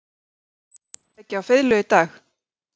Karen Kjartansdóttir: Gastu leikið á fiðlu í dag?